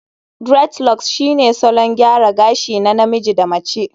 aDreadlocks shine salon gyara gashi na namiji da mace